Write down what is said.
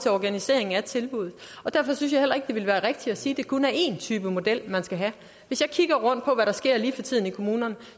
organiseringen af tilbuddet derfor synes jeg heller ikke det vil være rigtigt at sige at det kun er én type model man skal have hvis jeg kigger rundt og hvad der sker lige for tiden i kommunerne